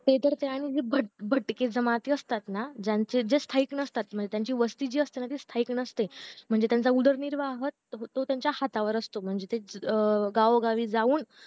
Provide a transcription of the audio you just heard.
ते तर त्याहूनही भट भटकी जमाती असताना ज्यांचे जे स्थायिक नसता म्हणजे ज्यांची वस्ती जी असतीना ती स्थायिक नसते म्हणजे त्यांचा उदरनिर्वाह तो त्यांच्या हातावर असतो म्हणजे ते अं गाओ गावी जाऊन